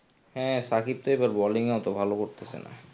হ্যাঁ শাকিব তো এবার bowling অত ভালো করতেসে না.